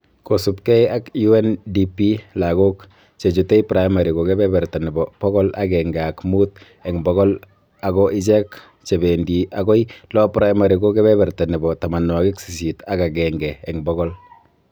Kosubkei ak UNDP ,lagok che chutei primary ko kebeberta nebo bokol agenge ak muut eng bokol ako ichek che bendi agoi lower primary ko kebeberta nebo tamanwokik sisit ak agenge eng bokol